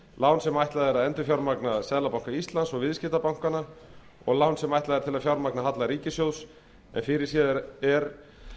lán sem ætlað er að endurfjármagna seðlabanka íslands og viðskiptabankana og lán sem ætlað er til að fjármagna halla ríkissjóðs en fyrirséð er